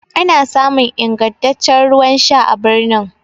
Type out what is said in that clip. ana samun ingantaccen ruwan Sha a birnin